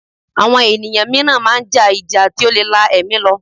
Àwọn ènìyàn mìíràn máa ń ja ìjà tí ó lè la ẹ̀mí lọ